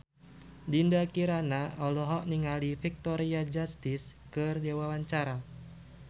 Dinda Kirana olohok ningali Victoria Justice keur diwawancara